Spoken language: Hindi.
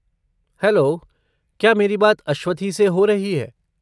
हैलो, क्या मेरी बात अश्वथी से हो रही है?